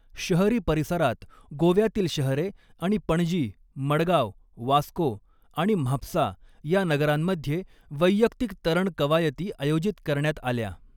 शहरी परिसरात, गोव्यातील शहरे आणि पणजी, मडगाव, वास्को आणि म्हापसा ह्या नगरांमध्ये वैयक्तिक तरण कवायती आयोजित करण्यात आल्या.